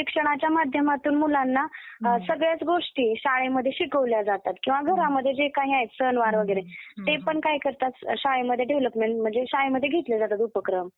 कारण शिक्षणाच्या माध्यमातून मुलांना सगळ्याच गोष्टी शाळेमध्ये शिकवल्या जातात किंवा घरामध्ये जे काही आहेत सणवार वगैरे ते पण काय करतात शाळेमध्ये डेव्हलपमेंट म्हणजे शाळेमध्ये घेतले जातात उपक्रम.